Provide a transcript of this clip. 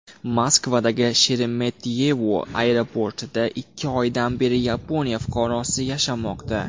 Moskvadagi Sheremetyevo aeroportida ikki oydan beri Yaponiya fuqarosi yashamoqda.